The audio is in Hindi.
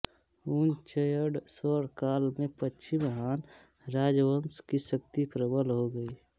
वुनच्यङ स्वर्ण काल में पश्चिम हान राजवंश की शक्ति प्रबल हो गई